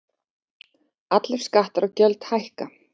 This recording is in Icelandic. Allir skattar og gjöld hækka